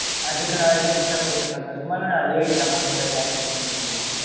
அதுக்கு நான் ஏதும் extra pay பண்ற மாதிரி இருக்குமா? இல்ல அதே இந்த amount கூட calculate பன்னிப்பீங்களா?